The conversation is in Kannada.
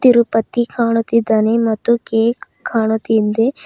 ತಿರುಪತಿ ಕಾಣುತ್ತಿದಾನೆ ಮತ್ತು ಕೇಕ್ ಕಾಣುತ್ತಿದೆ.